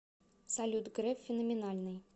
салют греф феноменальный